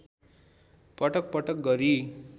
पटक पटक गरी